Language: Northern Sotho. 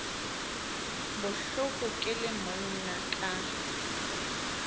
bohloko ke le monna ka